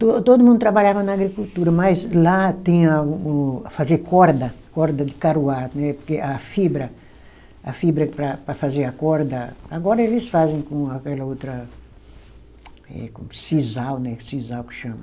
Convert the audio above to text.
To todo mundo trabalhava na agricultura, mas lá tem a o, a fazer corda, corda de caruá, né, porque a fibra, a fibra para para fazer a corda, agora eles fazem com aquela outra, eh com sisal, né, sisal que chama.